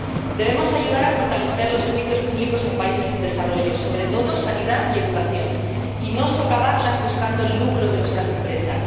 Debemos ayudar a fortalecer los servicios públicos en los países en desarrollo, sobre todo la sanidad y la educación, y no socavarlos buscando el lucro de nuestras empresas.